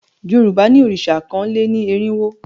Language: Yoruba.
Yorùbá ní òrìṣà ọkàn lé ní erinwo